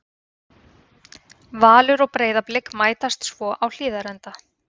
Valur og Breiðablik mætast svo á Hlíðarenda.